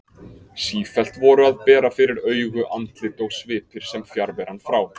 Sífellt voru að bera fyrir augu andlit og svipir sem fjarveran frá